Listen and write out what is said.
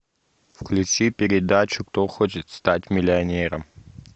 включи передачу кто хочет стать миллионером